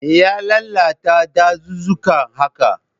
Me ya lalata dazuzzuka haka?